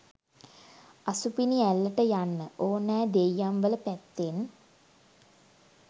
අසුපිනිඇල්ලට යන්න ඕනෑ දෙයියන්වල පැත්තෙන්.